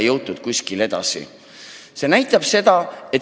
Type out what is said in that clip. Kuskile edasi pole jõutud.